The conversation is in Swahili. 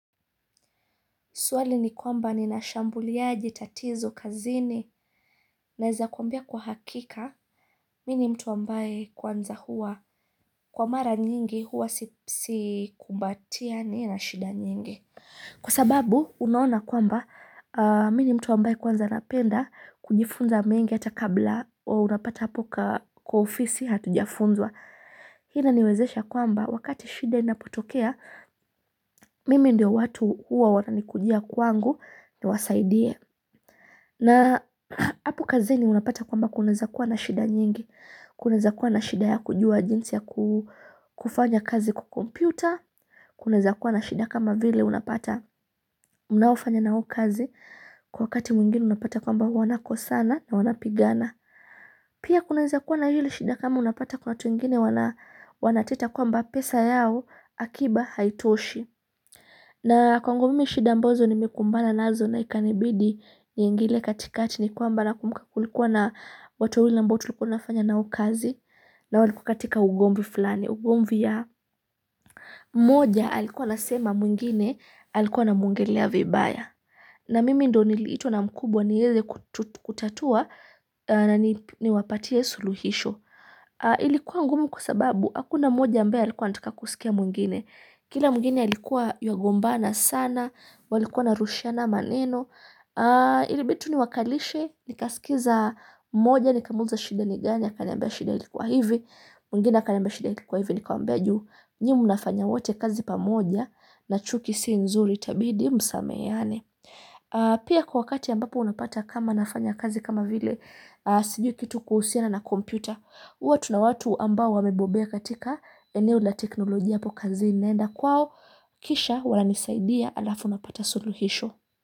Swali ni kwamba nina shambuliaje tatizo kazini naweza kwambia kwa hakika mini mtu ambaye kwanza huwa kwa mara nyingi huwa sikumbatiani na shida nyingi. Kwa sababu unaona kwamba mimi ni mtu ambaye kwanza napenda kujifunza mengi atakabla unapata hapo kwa ofisi hatujafunzwa. Hina niwezesha kwamba wakati shida inapotokea Mimi ndiyo watu uwa wanani kujia kwangu ni wasaidie na apu kazini unapata kwamba kunaweza kuwa na shida nyingi kunaweza kuwa na shida ya kujua jinsi ya kufanya kazi kwa kompyuta kunaweza kuwa na shida kama vile unapata mnaofanya nao kazi Kwa wakati mwingine unapata kwamba wana kosana na wanapigana Pia kunaweza kuwa na ile shida kama unapata kwa watu wengine wanateta kwamba pesa yao akiba haitoshi na kwangu mimi shida ambazo nimekumbana nazo na ikanibidi ni ingile katikati ni kwamba nakumuka kulikuwa na watu wawili ambao tulikuwa tunafanya nao kazi na walikuwa katika ugomvi fulani ugombi ya mmoja alikuwa asema mwingine alikuwa na muongelea vibaya na mimi ndo niliitwa na mkubwa ni weze kutatua na niwapatia suluhisho ilikuwa ngumu kwasababu akuna mmoja ambae alikuwa anataka kusikia mwingine. Kila mwingine alikuwa yuagombana sana walikuwa wanarushiana maneno ilibidi tu niwakalishe nikaskiza mmoja nikamuliza shida ni gani akaniambia shida ilikuwa hivi. Mwingine akaniambia shida ilikuwa hivi nikamwambia. Nyie mnafanya wote kazi pamoja na chuki siinzuri itabidi msameheyane. Pia kwa wakati ambapo unapata kama nafanya kazi kama vile siju kitu kuhusiana na kompyuta huwa tuna watu ambao wamebobea katika eneo la teknolojia hapo kazini naenda kwao, kisha wananisaidia alafu napata suluhisho.